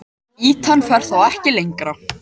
Ýtan fer þá ekki lengra.